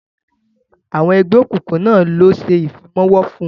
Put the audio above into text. Àwọn ẹgbẹ́ òkùnkùn náà ló ṣe Ìfimáwo fún